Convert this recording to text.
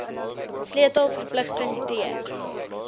sleutel verpligting t